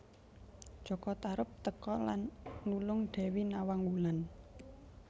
Jaka Tarub teka lan nulung Dewi Nawang Wulan